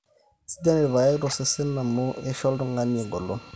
sidan irpaek tosesen amu eisho oltung'ani eng'olon